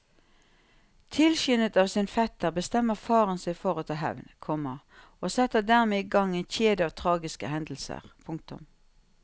Tilskyndet av sin fetter bestemmer faren seg for å ta hevn, komma og setter dermed i gang en kjede av tragiske hendelser. punktum